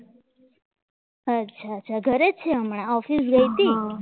અચ્છા ઘરે છે હમણાં ઓફિસ ગઈ હતી